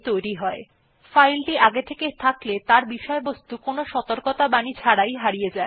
যদি সেটির অস্তিত্ব আগে থেকেই থাকে তাহলে উপস্থিত বিষয়বস্তু সাধারণত কোন সতর্কত়াবাণী ছাড়াই হারিয়ে যায়